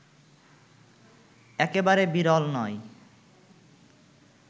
একেবারে বিরল নয়